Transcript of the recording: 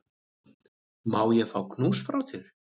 Má ég fá knús frá þér?